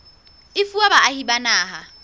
e fuwa baahi ba naha